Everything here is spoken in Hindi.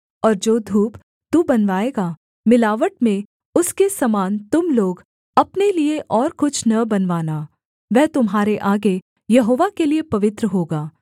और जो धूप तू बनवाएगा मिलावट में उसके समान तुम लोग अपने लिये और कुछ न बनवाना वह तुम्हारे आगे यहोवा के लिये पवित्र होगा